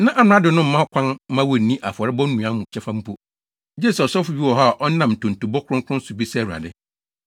Na amrado no mma kwan mma wonnni afɔrebɔ nnuan mu kyɛfa mpo, gye sɛ ɔsɔfo bi wɔ hɔ a ɔnam ntontobɔ kronkron so bisa Awurade.